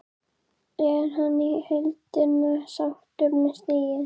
Er hann í heildina sáttur með stigið?